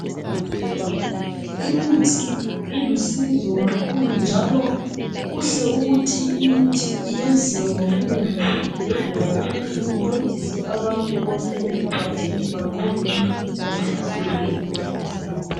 Imithi ilusizo kakhulu, njalo kuhle ukuthi imithi eyenziwe ngobunengi ezibhedlela ukuze incedise abantu bonke emphakathini banqobe imikhuhlane etshiyeneyo ebahlaselayo.